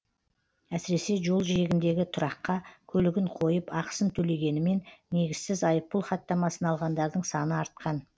әсіресе жол жиегіндегі тұраққа көлігін қойып ақысын төлегенімен негізсіз айыппұл хаттамасын алғандардың саны артқан